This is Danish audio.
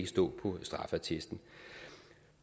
stå på straffeattesten